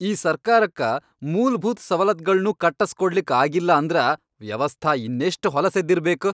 ಈ ಸರ್ಕಾರಕ್ಕ ಮೂಲ್ಭೂತ್ ಸವಲತ್ಗಳ್ನೂ ಕಟ್ಟಸ್ಕೊಡ್ಲಿಕ್ ಆಗಿಲ್ಲಾ ಅಂದ್ರ ವ್ಯವಸ್ಥಾ ಇನ್ನೆಷ್ಟ್ ಹೊಲಸೆದ್ದಿರ್ಬೇಕ್!